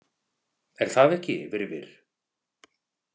Er það ekki, Virfir?